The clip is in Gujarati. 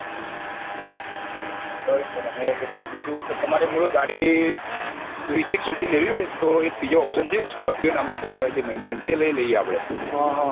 બરોબર અને બીજું તો તમારે મૂળ ગાડી વિશ એક સુધી લેવી હોય તો એક બીજો option છે scorpio નામ ની એક car આવે છે mahindra તે લાયી લયીયે આપડે